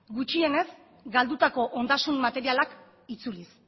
gutxienez galdutako ondasun materialak itzuliz